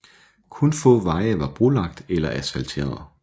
Kun få veje var brolagt eller asfalteret